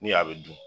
Ni a bɛ dun